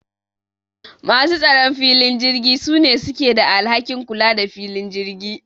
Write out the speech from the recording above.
Masu tsaron filin jirgi sune suke da alhakin kula the filin jirgi